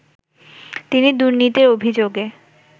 তিনি দুর্নীতির অভিযোগে